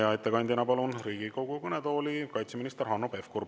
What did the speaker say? Ja ettekandjaks palun Riigikogu kõnetooli kaitseminister Hanno Pevkuri.